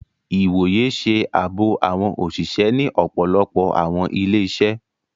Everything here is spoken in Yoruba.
Ìwòyè ṣe ààbò awọn oṣiṣẹ ni ọpọlọpọ awọn ilé-iṣẹ